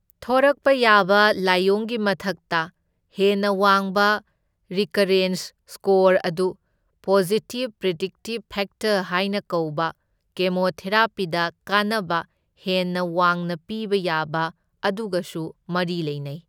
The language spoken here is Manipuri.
ꯊꯣꯔꯛꯄ ꯌꯥꯕ ꯂꯥꯢꯑꯣꯡꯒꯤ ꯃꯊꯛꯇ, ꯍꯦꯟꯅ ꯋꯥꯡꯕ ꯔꯤꯀꯔꯦꯟꯖ ꯁ꯭ꯀꯣꯔ ꯑꯗꯨ ꯄꯣꯖꯤꯇꯤꯚ ꯄ꯭ꯔꯤꯗꯤꯛꯇꯤꯚ ꯐꯦꯛꯇꯔ ꯍꯥꯢꯅ ꯀꯧꯕ ꯀꯦꯃꯣꯊꯦꯔꯥꯄꯤꯗ ꯀꯥꯟꯅꯕ ꯍꯦꯟꯅ ꯋꯥꯡꯅ ꯄꯤꯕ ꯌꯥꯕ ꯑꯗꯨꯒꯁꯨ ꯃꯔꯤ ꯂꯩꯅꯩ꯫